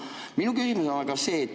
Minu küsimus on aga see.